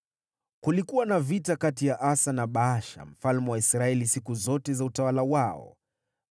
Kulikuwa na vita kati ya Asa na Baasha mfalme wa Israeli siku zote za utawala wao.